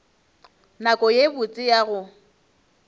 nako ye botse ya go